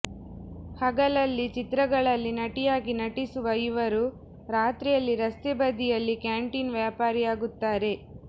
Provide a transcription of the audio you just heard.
ಹಗಲಲ್ಲಿ ಚಿತ್ರಗಳಲ್ಲಿ ನಟಿಯಾಗಿ ನಟಿಸುವ ಇವರು ರಾತ್ರಿಯಲ್ಲಿ ರಸ್ತೆಬದಿಯಲ್ಲಿ ಕ್ಯಾಂಟೀನ್ ವ್ಯಾಪಾರಿಯಾಗುತ್ತಾರೆ